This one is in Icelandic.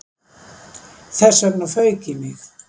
Þess vegna fauk í mig